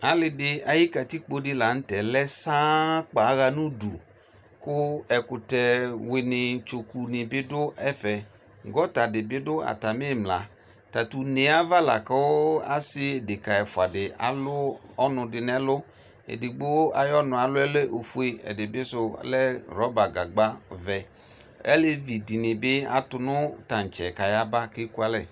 Alidi ayi katikpo di lanʋtɛ lɛ saa kpaa aɣa nʋ ʋdʋ kʋ ɛkʋtɛ wini tsokʋni bi dʋ ɛfɛ gɔta dibi dʋ atami imla tatʋ une yɛ ava lakʋ ɔsi deka ɛfʋa alʋ ɔnʋdi nʋ ɛlʋ edigbo ayʋ ɔnʋ alʋ lɛ ofue ɛdibi sʋ lɛ rɔba gagbavɛ alevidini bi atʋnʋ tantsɛ kayaba kʋ ɛkʋ alɛ